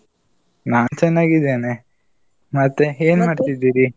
ನಾನ್ ಚೆನ್ನಾಗಿದ್ದೇನೆ. ಮತ್ತೆ ಮಾಡ್ತಿದೀರಿ?